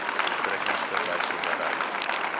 doeltreffendste wyse bereik